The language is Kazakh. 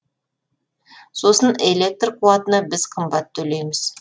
сосын электр қуатына біз қымбат төлейміз